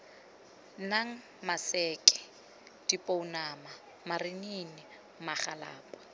nang maseke dipounama marinini magalapa